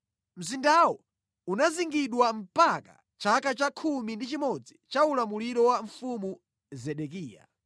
Mzindawo unazingidwa mpaka chaka cha khumi ndi chimodzi cha ulamuliro wa Mfumu Zedekiya.